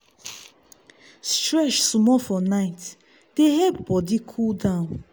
stretch small for night dey help body cool down.